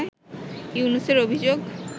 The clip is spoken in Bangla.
ইউনূসের অভিযোগ